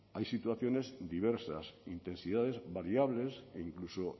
hay situaciones diversas intensidades variables e incluso